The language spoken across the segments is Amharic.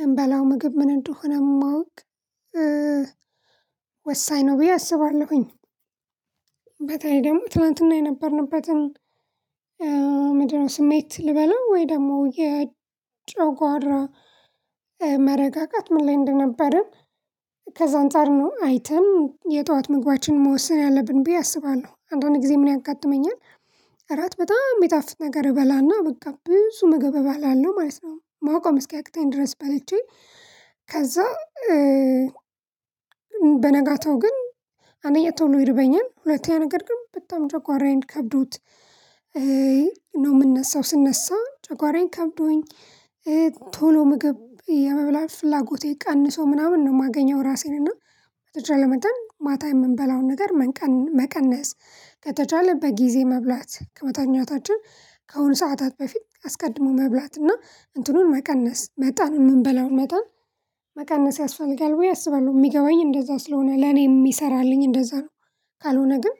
የምንበላው ምግብ ምን እንደሆነ ማወቅ ወሳኝ ነው ብየ አስባለሁኝ። በተለይ ደግሞ ትናንት የነበርንበትን ምንድን ነው ስሜት ልበለው ወይም ደግሞ የጨጎራ መረጋጋት ምን ላይ እንደነበርን። ከዛ ነው አንፃር አይተን የጠዋት ምግባችንን መወሰን ያለብን ብየ አስባለሁ አንዳንድ ጊዜ ምን ያጋጥመኛል። እራት በጣም ሚጣፍጥ ነገር እበላና በቃ ብዙ ምግብ እበላለሁ ማለት ነው። መቆም እስኪያቅተኝ ድረስ በልቼ። ከዛ በነጋታው ግን አንደኛ ቶሎ ይርበኛል ሁለተኛ ነገር ግን በጣም ጨጓራዬን ከብዶት ነው የምነሳው። ስንነሳ ጨጓራዬን ከብዶኝ ቶሎ ምግብ የመብላት ፍላጎቴ ቀንሶ ምናምን ነው የማገኘው። እራሴን እና በተቻለ መጠን ማታ የምንበላውን ነገር መቀነስ ከተቻለ በጊዜ መብላት ከመታኛታችን ከሆኑ ሰዓታት በፊት አስቀድሞ መብላት እና እንትኑን መቀነስ መጠኑን የምንበላውን መጠን መቀነስ ያስፈልጋል ብዬ አስባለሁ። የሚገባኝ እንደዛ ስለሆነ ለኔ የሚሰራልኝ እንደዛ ነው። ካልሆነ ግን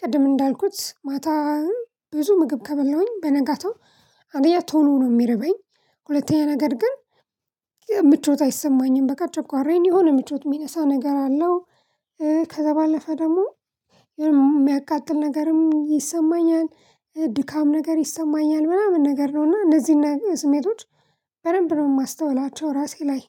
ቅድም እንዳልኩት ማታ ብዙ ምግብ ከበላሁኝ በነጋታው አንደኛ ቶሎ ነው የሚርበኝ። ሁለተኛ ነገር ግን ምቾት አይሰማኝም በቃ ጨጎራዬን የሆነ ምቾት የሚነሳ ነገር አለው። ከዛ ባለፈ ደግሞ የሆነ ሚያቃጥል ነገርም ይሰማኛል። ድካም ነገር ይሰማኛል ምናምን ነገር ነው እና እነዚህን ስሜቶች በደንብ ነው ማስተውላቸው እራሴ ላይ።